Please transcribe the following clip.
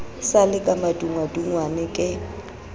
sa le ka madungwadungwa ke